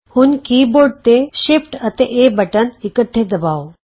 ਹੁਣ ਕੀਬੋਰਡ ਤੋਂ ਸ਼ਿਫਟ ਅਤੇ ਏ ਬਟਨ ਇਕੱਠੇ ਦਬਾਉ